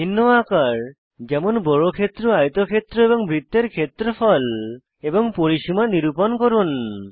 ভিন্ন আকার যেমন বর্গক্ষেত্র আয়তক্ষেত্র এবং বৃত্তের ক্ষেত্রফল এবং পরিসীমা নিরুপন করুন